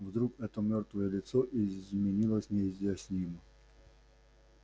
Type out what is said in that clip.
вдруг это мёртвое лицо изменилось неизъяснимо